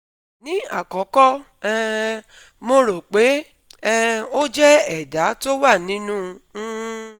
Ní àkọ́kọ́ um mo rò pé um ó jẹ́ ẹ̀dà tó wà nínú um